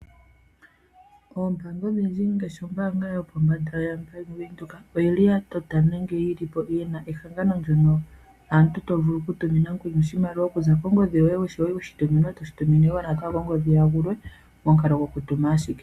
Ombaanga odhindji ngaashi Ombaanga yo pombanda yaBank Windhoek oyi li ya tota nenge yili po yina ehangano ndyono aantu tovulu oku tumina omuntu oshimaliwa okuza kongodhi yoye oshowo weshi tuminwa toshi tumine oshewe kongodhi ya gulwe momukalo goku tuma ashike.